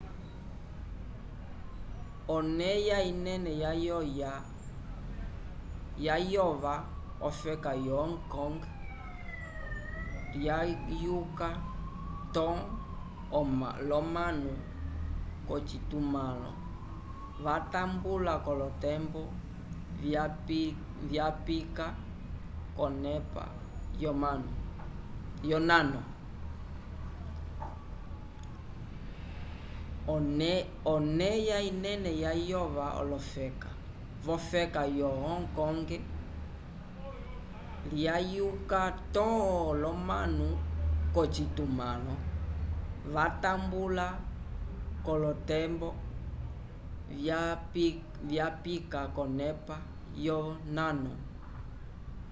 oneya inene yayova v'ofeka yo hong kong lyayuka to l'omanu k'ocitumãlo vatambula k'olotembo vyapika k'onepa yonano